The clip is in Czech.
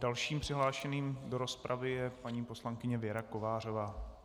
Dalším přihlášeným do rozpravy je paní poslankyně Věra Kovářová.